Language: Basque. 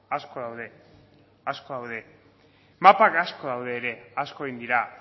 asko daude asko daude mapak asko daude ere asko egin dira